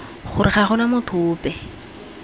gore ga gona motho ope